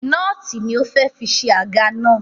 Nóòtì ni ó fẹ́ fi ṣe àga náà